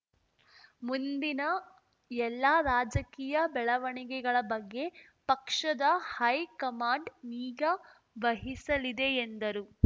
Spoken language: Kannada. ಮುಂದಿನ ಎಲ್ಲ ರಾಜಕೀಯ ಬೆಳವಣಿಗೆಗಳ ಬಗ್ಗೆ ಪಕ್ಷದ ಹೈಕಮಾಂಡ್‌ ನಿಗಾ ವಹಿಸಲಿದೆ ಎಂದರು